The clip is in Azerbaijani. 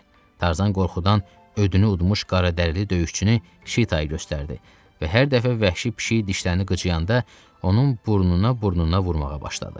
Tarzan qorxudan ödünü udmuş qaradərili döyüşçünü şitayı göstərdi və hər dəfə vəhşi pişik dişlərini qıcıyanda onun burnuna burnuna vurmağa başladı.